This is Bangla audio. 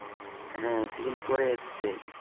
হ্যাঁ season four এ এসছে